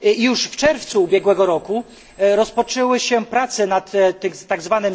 Już w czerwcu ubiegłego roku rozpoczęły się prace nad tzw.